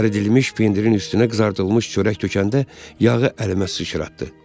Əridilmiş pendirin üstünə qızardılmış çörək tökəndə yağı əlimə sıçratdı.